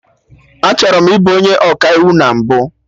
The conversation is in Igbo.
Achọrọ m ị bụ onye Ọkaiwu na mbụ